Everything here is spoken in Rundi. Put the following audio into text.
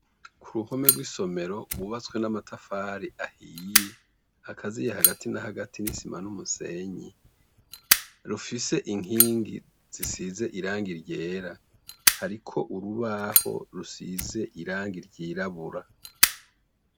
Ku ruhome rw'isomero wubatswe n'amatafari ahiye akaziye hagati na hagati n'i sima n'umusenyi, rufise inkingi zisize iranga iryera hariko urubaho rusize iranga iryirabura.